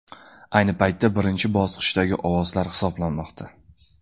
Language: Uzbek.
Ayni paytda birinchi bosqichdagi ovozlar hisoblanmoqda.